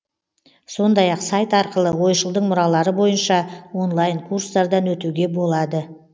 сондай ақ сайт арқылы ойшылдың мұралары бойынша онлайн курстардан өтуге болады